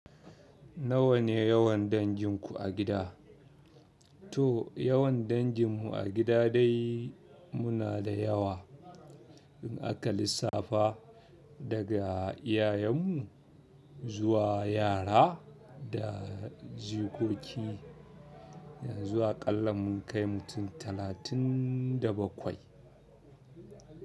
Nawa ne yawan danginku a gida? To yawan danginmu a gida dai muna da yawa. In aka lissafa daga iyayenmu zuwa yara da jikoki, ya zu a ƙalla mun kai mutum talatin da bakwai.